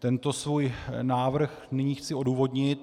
Tento svůj návrh nyní chci odůvodnit.